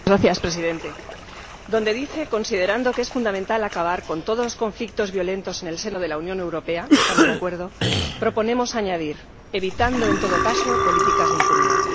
Señor Presidente, donde dice Considerando que es fundamental acabar con todos los conflictos violentos en el seno de la Unión Europea, algo con lo que estamos de acuerdo, proponemos añadir evitando, en todo caso, políticas de impunidad.